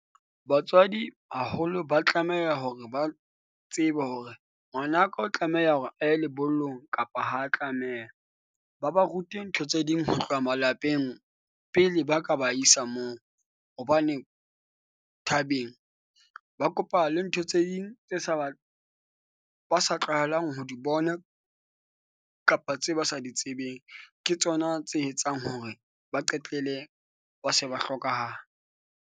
Batswadi haholo ba tlameha hore ba tsebe hore ngwanaka o tlameha hore a ye lebollong kapa ha tlameha. Ba ba rute ntho tse ding ho tloha malapeng pele ba ka ba isa moo hobane thabeng ba kopana le ntho tse ding tse sa ba, ba sa tlwaelang ho di bona kapa tse ba sa di tsebeng. Ke tsona tse etsang hore ba qetelle ba se ba hlokahala.